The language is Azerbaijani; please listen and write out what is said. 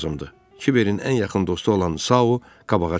Kiberin ən yaxın dostu olan Sao qabağa çıxdı.